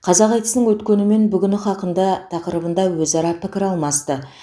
қазақ айтысының өткені мен бүгіні хақында тақырыбында өзара пікір алмасты